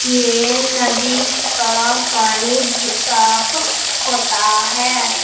ये नदी का पानी ज साफ होता है।